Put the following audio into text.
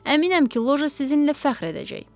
Əminəm ki, Loja sizinlə fəxr edəcək.